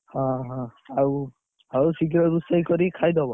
ଓହୋ ଆଉ, ଆଉ ଶୀଘ୍ର ରୋଷେଇ କରିକି ଖାଇଦବ।